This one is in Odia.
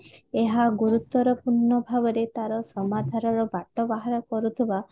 ଏହା ଗୁରୁତ୍ବରପୂର୍ଣ ଭାବରେ ତାର ସମାଧାନ ର ବାଟ ବାହାର କରୁଥିବା